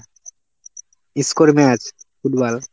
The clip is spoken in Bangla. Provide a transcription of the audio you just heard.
score match, football.